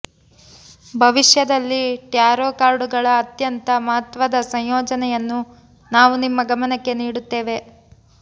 ಭವಿಷ್ಯದಲ್ಲಿ ಟ್ಯಾರೋ ಕಾರ್ಡುಗಳ ಅತ್ಯಂತ ಮಹತ್ವದ ಸಂಯೋಜನೆಯನ್ನು ನಾವು ನಿಮ್ಮ ಗಮನಕ್ಕೆ ನೀಡುತ್ತೇವೆ